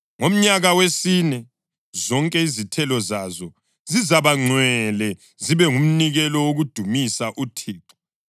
Ngomnyaka wesine, zonke izithelo zazo zizabangcwele, zibe ngumnikelo wokudumisa uThixo.